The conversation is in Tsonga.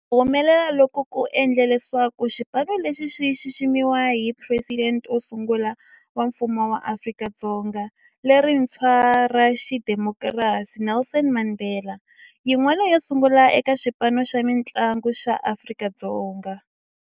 Ku humelela loku ku endle leswaku xipano lexi xi xiximiwa hi Presidente wo sungula wa Mfumo wa Afrika-Dzonga lerintshwa ra xidemokirasi, Nelson Mandela, yin'wana yo sungula eka xipano xa mintlangu xa Afrika-Dzonga.